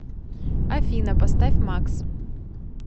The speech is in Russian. афина поставь макс